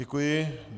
Děkuji.